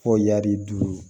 Fo yaali duuru